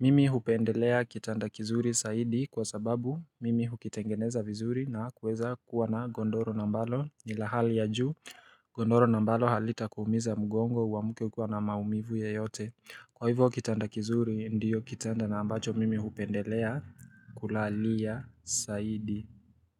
Mimi hupendelea kitanda kizuri saidi kwa sababu mimi hukitengeneza vizuri na kuweza kuwa na gondoro na ambalo nila hali ya ju Gondoro na ambalo halita kuumiza mgongo wa muke kwa na maumivu ya yote Kwa hivyo kitanda kizuri ndiyo kitanda na ambacho mimi hupendelea kulalia zaidi.